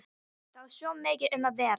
Það var svo mikið um að vera.